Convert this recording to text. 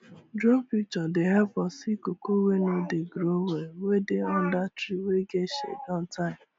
drone picture dey help us see cocoa wey no dey grow well wey dey under tree wey get shade on time